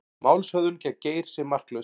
Málshöfðun gegn Geir sé marklaus